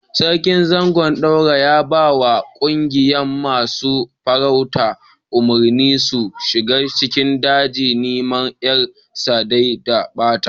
Sarkin Zangon Daura ya ba ma ƙungiyan masun farauta umurni su shiga cikin daji niman yar sa dai ta bata.